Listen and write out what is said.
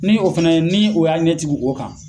Ni o fɛnɛ ni o y'a ɲɛtigi o kan.